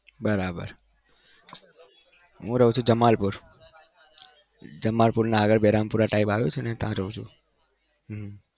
બરાબર હું રહું છુ જમાલપુર. જમાલપુરના આગળ બેરામપુરા આવ્યું છે ને ત્યાં રહું છુ હમ